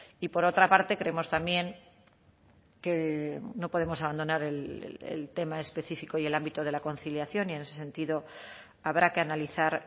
y por otra parte creemos también que no podemos abandonar el tema específico y el ámbito de la conciliación y en ese sentido habrá que analizar